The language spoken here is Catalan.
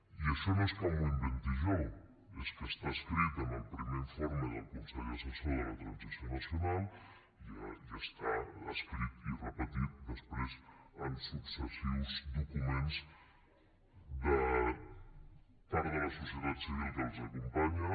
i això no és que m’ho inventi jo és que està escrit en el primer informe del consell assessor de la transició nacional i està escrit i repetit després en successius documents de part de la societat civil que els acompanya